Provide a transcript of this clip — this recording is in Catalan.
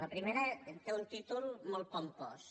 la primera té un títol molt pompós